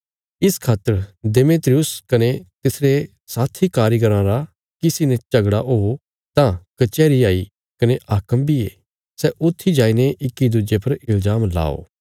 इस खातर देमेत्रियुस कने तिसरे साथी कारीगराँ रा किसी ने झगड़ा हो तां कचैहरी हाई कने हाक्म बी ये सै ऊत्थी जाईने इक्की दुज्जे पर इल्जाम लाओ